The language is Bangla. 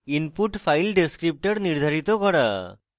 input file descriptor নির্ধারিত করা